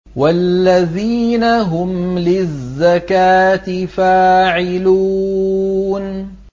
وَالَّذِينَ هُمْ لِلزَّكَاةِ فَاعِلُونَ